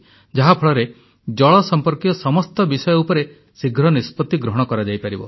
ଯାହାଫଳରେ ଜଳ ସମ୍ପର୍କୀୟ ସମସ୍ତ ବିଷୟ ଉପରେ ଶୀଘ୍ର ନିଷ୍ପତି ଗ୍ରହଣ କରାଯାଇପାରିବ